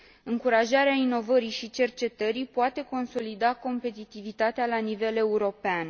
Încurajarea inovării și cercetării poate consolida competitivitatea la nivel european.